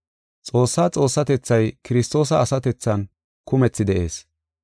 Xoossaa Xoossatethay Kiristoosa asatethan kumethi de7ees.